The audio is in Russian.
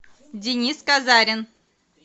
денис казарин